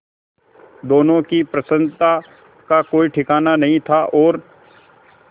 दोनों की प्रसन्नता का कोई ठिकाना नहीं था और